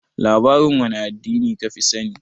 Labarin wane addini ka fi sani?